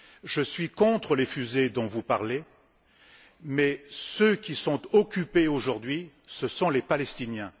Je suis contre les fusées dont vous parlez mais ceux qui sont occupés aujourd'hui, ce sont les Palestiniens.